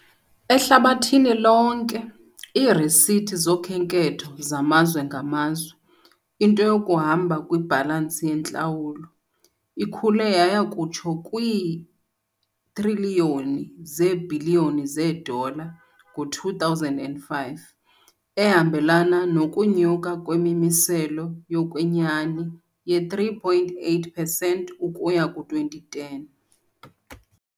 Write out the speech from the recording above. Ehlabathini lonke, iirisithi zokhenketho zamazwe ngamazwe, into yokuhamba kwibhalansi yeentlawulo, ikhule yaya kutsho kwii-triliyoni zeebhiliyoni zeedola, ngo-2005, ehambelana nokunyuka kwemimiselo yokwenyani ye-3.8 pesenti ukusuka ku-2010